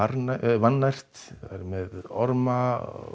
vannært það væri með orma